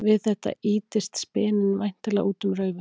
Við þetta ýtist speninn væntanlega út um raufina.